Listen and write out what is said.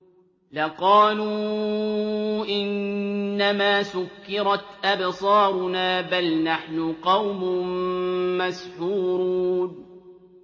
لَقَالُوا إِنَّمَا سُكِّرَتْ أَبْصَارُنَا بَلْ نَحْنُ قَوْمٌ مَّسْحُورُونَ